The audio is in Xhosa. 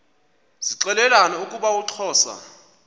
zixelelana ukuba uxhosa